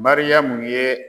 Mariyamu ye